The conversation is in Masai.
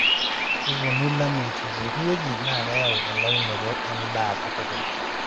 kepuonu ilameyutin pookin wueji naa keyau elaunoto edaa katukul